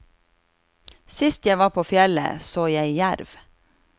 Sist jeg var på fjellet, så jeg jerv.